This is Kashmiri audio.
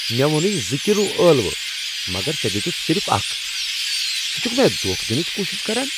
مےٚ ووٚنُے زٕ کلِو ٲلوٕ مگر ژے٘ دِیوتُتھ صِرف اكھ ! ژٕ چھُكھہٕ مےٚ دوکھٕہ دِنٕچ کوٗشش کران؟